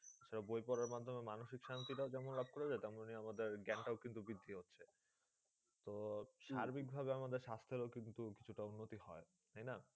সব বই পড়ার মাধ্যমে মানসিক শান্তি টাও যেমন লাভ করা যায়, তেমন আমাদের গ্যান টাও কিন্তু বৃদ্ধি হচ্ছে। তো সার্বিকভাবে আমাদের স্বাস্থ্যেরও কিন্তু কিছুটা উন্নতি হয়, তাইনা?